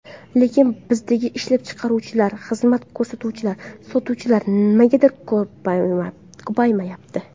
Lekin bizdagi ishlab chiqaruvchilar, xizmat ko‘rsatuvchilar, sotuvchilar nimagadir ko‘paymayapti.